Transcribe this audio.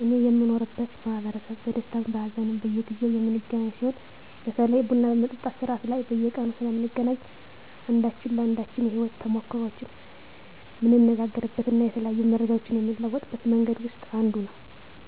እኔ የምኖርበት ማህበረሰብ በደስታም በሃዘንም በየጊዜው የምንገናኝ ሲሆን በተለይ ቡና በመጠጣት ስርአት ላይ በየቀኑ ስለምንገናኝ አንዳችን ለአንዳችን የህይወት ተሞክሮዎችን ምንነጋገርበት እና የተለያዩ መረጃዎችን ምንለዋወጥበት መንገድ ውስጥ አንዱ ነው።